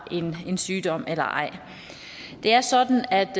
en sygdom eller ej det er sådan at